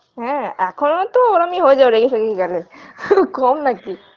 হ্যাঁ এখনোতো ওরমই হয়ে যাও রেগে ফেগে গেলে কম নাকি